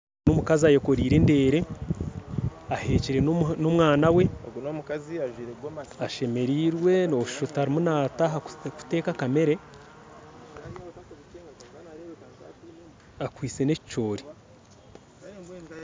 N'omukazi ayekoreire endeere ahekyire n'omwaana we ashemereirwe nosha oti arimu nataaha kuteeka akamere akwitse n'ekicoori.